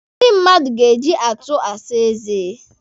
Ndị mmadụ ga-eji atọ asa eze.